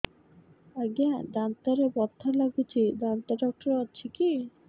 ଆଜ୍ଞା ଦାନ୍ତରେ ବଥା ଲାଗୁଚି ଦାନ୍ତ ଡାକ୍ତର ଅଛି କି